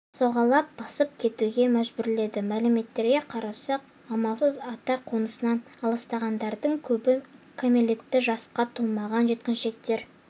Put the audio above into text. сауғалап босып кетуге мәжбүрледі мәліметтерге қарасақ амалсыз ата қонысынан алыстағандардың көбі кәмелеттік жасқа толмаған жеткіншектер